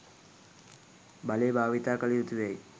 බලය භාවිතා කළ යුතුයැයි